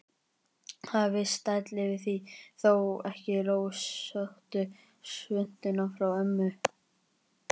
Það er viss stæll yfir því, þó ekki rósóttu svuntuna frá ömmu.